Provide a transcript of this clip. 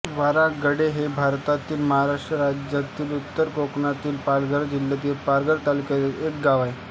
वारांगडे हे भारतातील महाराष्ट्र राज्यातील उत्तर कोकणातील पालघर जिल्ह्यातील पालघर तालुक्यातील एक गाव आहे